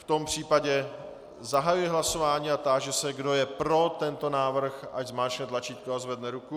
V tom případě zahajuji hlasování a táži se, kdo je pro tento návrh, ať zmáčkne tlačítko a zvedne ruku.